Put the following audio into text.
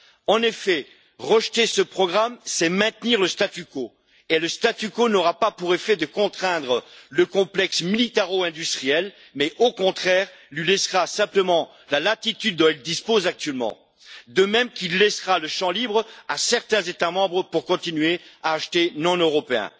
En effet, rejeter ce programme, c'est maintenir le statu quo et le statu quo n'aura pas pour effet de contraindre le complexe militaro industriel, mais au contraire lui laissera simplement la latitude dont il dispose actuellement, de même qu'il laissera le champ libre à certains États membres pour continuer à acheter non européen.